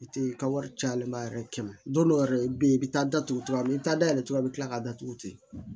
I tɛ i ka wari cayalenba yɛrɛ kɛmɛ don dɔw yɛrɛ i bɛ yen i bɛ taa datugu cogo min na i bɛ taa da yɛlɛ cogo min i bɛ kila k'a datugu ten